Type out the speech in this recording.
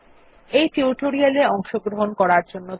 এই টিউটোরিয়াল এ অংশগ্রহন করার জন্য ধন্যবাদ